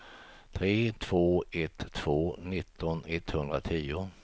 tre två ett två nitton etthundratio